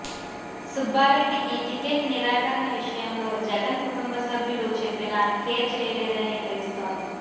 సుబారెడ్డికి ticket నిరాకరణ విషయంలో జగన్ కుటుంబసభ్యులు చెప్పినా కేర్ చెయ్యలేదని తెలుస్తోంది